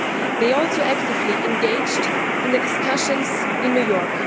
They also actively engaged in the discussions in New York.